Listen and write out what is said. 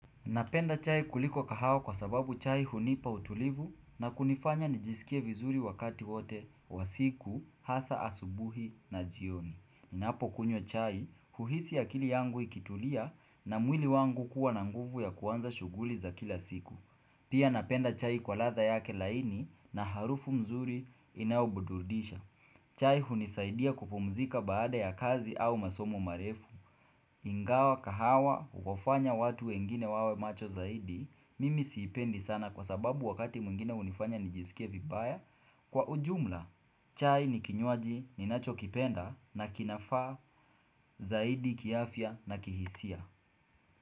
Napenda chai kuliko kahawa kwa sababu chai hunipa utulivu na kunifanya nijisikie vizuri wakati wote wa siku, hasa asubuhi na jioni. Inapo kunywa chai, huhisi akili yangu ikitulia na mwili wangu kuwa na nguvu ya kuanza shuguhli za kila siku. Pia napenda chai kwa radha yake laini na harufu mzuri inaubudurdisha. Chai hunisaidia kupumzika baada ya kazi au masomo marefu. Ingawa kahawa huwafanya watu wengine wawe macho zaidi mimi siipendi sana kwa sababu wakati mwingine unifanya nijisikia vibaya kwa ujumla chai ni kinyuaji ninacho kipenda na kinafa zaidi kiafia na kihisia.